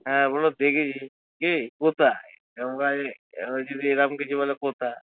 হ্যাঁ বলবো দেখেছি, কে কোথায়? এখন যদি এরকম কিছু বলে কোথায়!